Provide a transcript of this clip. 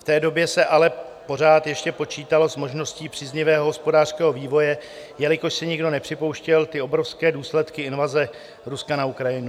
V té době se ale pořád ještě počítalo s možností příznivého hospodářského vývoj, jelikož si nikdo nepřipouštěl ty obrovské důsledky invaze Ruska na Ukrajinu.